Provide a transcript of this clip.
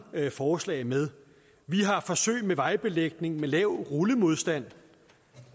forslag med vi har forsøg med vejbelægning med lav rullemodstand